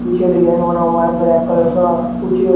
पीछे डिजाइन बना हुआ है ब्लैक कलर का कुछ--